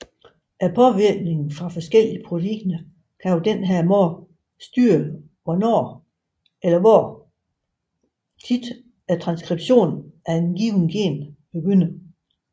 Påvirkning fra forskellige proteiner kan på denne måde styre hvornår eller hvor ofte transskription af et givet gen begynder